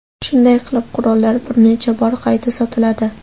Shunday qilib qurollar bir necha bor qayta sotiladi.